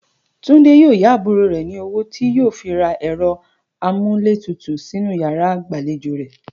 Túndé yóò yá àbúrò rè̩ ní owó tí yóò fi ra è̩ro̩ amúlétutù sínú yàrá ìgbàlejò rè̩